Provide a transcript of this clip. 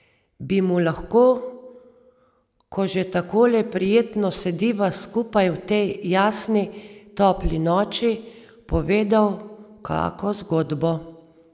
Bi mu lahko, ko že takole prijetno sediva skupaj v tej jasni, topli noči, povedal kako zgodbo?